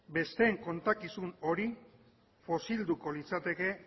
besteen kontakizun hori fosilduko litzateke